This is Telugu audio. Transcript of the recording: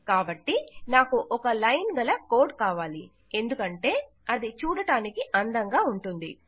కాబట్టి నాకు ఒక లైన్ గల కోడ్ కావాలి ఎందుకంటే అది చూడడానికి అందంగా ఉంటుంది